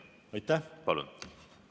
Palun!